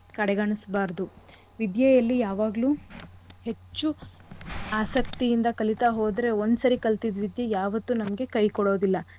ವಿದ್ಯೆಯಲ್ಲಿ ಯಾವಾಗ್ಲು ಹೆಚ್ಚು ಆಸಕ್ತಿಯಿಂದ ಕಲಿತಾ ಹೋದ್ರೆ ಒಂದ್ ಸರಿ ಕಲ್ತಿದ್ ವಿದ್ಯೆ ಯಾವತ್ತೂ ನಮ್ಗೆ ಕೈ ಕೊಡೋದಿಲ್ಲ.